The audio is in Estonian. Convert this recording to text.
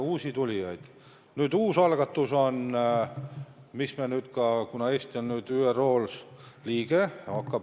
On ka üks uus algatus, mis on tehtud, kuna Eesti on nüüd ÜRO Julgeolekunõukogu liige.